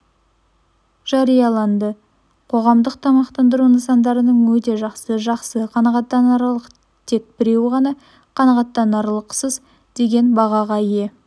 жарияланды қоғамдық тамақтандыру нысандарының өте жақсы жақсы қанағаттанарлық тек біреуі ғана қанағаттанарлықсыз деген бағаға ие